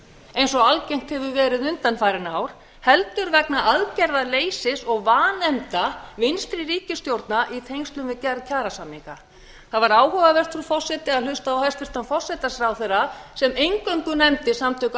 eins og algengt hefur verið undanfarin ár heldur vegna aðgerðaleysis og vanefnda vinstri ríkisstjórna í tengslum við gerð kjarasamninga það var áhugavert frú forseti að hlusta á hæstvirtan forsætisráðherra sem eingöngu nefndi samtök